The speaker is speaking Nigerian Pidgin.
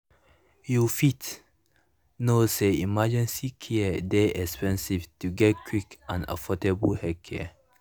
you fit know say emergency care dey expensive to get quick and affordable healthcare.